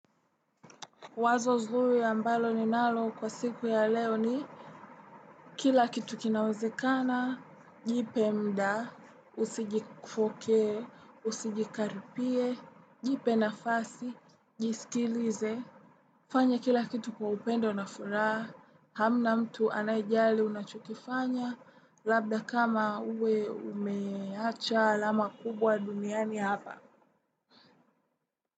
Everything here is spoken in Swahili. Wazo zuri ambalo ninalo kwa siku ya leo ni kila kitu kinawezekana, jipee mda, usijikufokee, usijikaripie, jipe nafasi, jisikilize. Fanya kila kitu kwa upendo na furaha, hamna mtu anayejali unachokifanya, labda kama uwe umeacha alama kubwa duniani hapa.